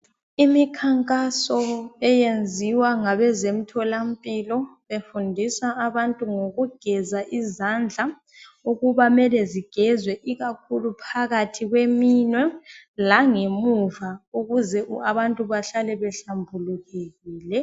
Imikhankaso eyenziwa ngabezemtholampilo befundisa abantu ngokugeza izandla ukuba mele zigezwe ikakhulu phakathi kweminwe langemuva ukuze abantu bahlale behlambulukile.